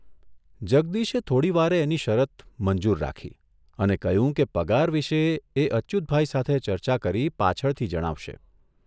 જગદીશે થોડીવારે એની શરત મંજૂર રાખી અને કહ્યું કે પગાર વિશે એ અચ્યુતભાઇ સાથે ચર્ચા કરી પાછળથી જણાવશે.